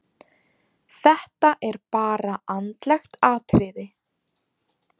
Þetta er bara andlegt atriði.